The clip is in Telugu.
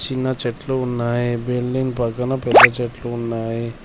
చిన్న చెట్లు ఉన్నాయి బిల్డింగ్ పక్కన పెద్ద చెట్లు ఉన్నాయి.